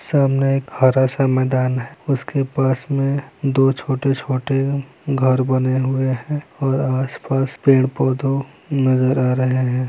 सामने एक हरा सा मैदान है उसके पास में दो छोटे-छोटे घर बने हुए हैं और आस-पास पेड़-पौधों नज़र आ रहे हैं।